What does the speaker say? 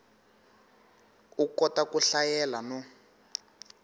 u kota ku hlayela no